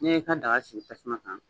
N'i y'i ka daga sigi tasuma kan